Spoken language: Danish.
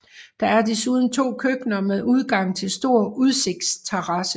Der er desuden 2 køkkener med udgang til stor udsigtsterrasse